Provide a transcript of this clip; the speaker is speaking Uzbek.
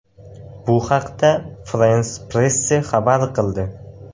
Bu haqda France-Presse xabar qildi .